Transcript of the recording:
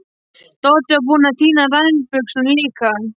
Doddi var búinn að týna nærbuxunum líka.